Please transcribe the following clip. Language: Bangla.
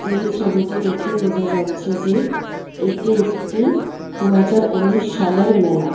এই ছবিটি দেখে বোঝা যাচ্ছে যে এটি একটি দুহাজার উনিশ সালের মেলা।